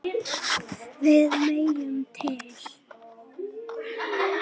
Við megum til.